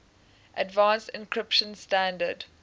advanced encryption standard